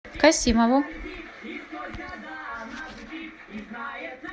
касимову